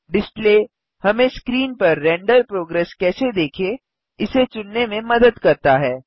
display हमें screen पर render progress कैसे देखें इसे चुनने में मदद करता है